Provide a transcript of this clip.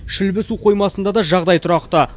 шүлбі су қоймасында да жағдай тұрақты